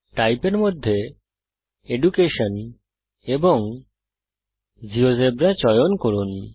Type এর মধ্যে education এবং জিওজেবরা চয়ন করুন